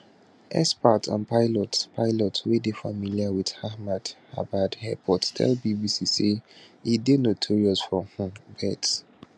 experts and pilots pilots wey dey familiar wit ahmedabad airport tell bbc say e dey notorious for um birds